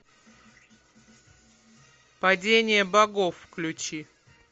падение богов включи